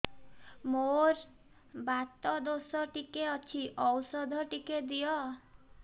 ମୋର୍ ବାତ ଦୋଷ ଟିକେ ଅଛି ଔଷଧ ଟିକେ ଦିଅ